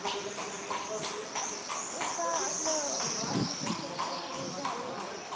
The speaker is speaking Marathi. एकदा आपलं application approve झालं ना,